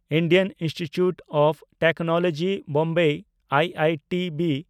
Indian Institute of Technology Bombay (IITB)